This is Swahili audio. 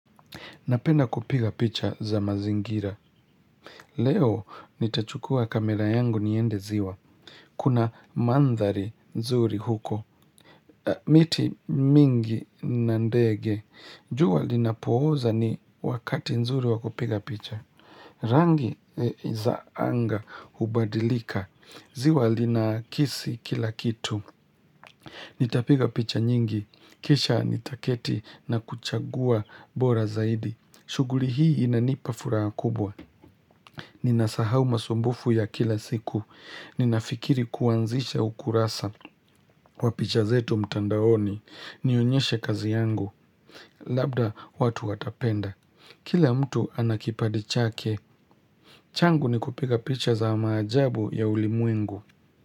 Napenda kupiga picha za mazingira. Leo nitachukua kamera yangu niende ziwa. Kuna mandhari nzuri huko. Miti mingi na ndege. Jua linapooza ni wakati nzuri wa kupiga picha. Rangi za anga hubadilika. Ziwa linakisi kila kitu. Nitapiga picha nyingi. Kisha nitaketi na kuchagua bora zaidi. Shughuli hii inanipa furaha kubwa. Ninasahau masumbufu ya kila siku. Ninafikiri kuanzisha ukurasa. Wa picha zetu mtandaoni. Nionyeshe kazi yangu. Labda watu watapenda. Kila mtu anakipadi chake. Changu ni kupiga picha za maajabu ya ulimwengu.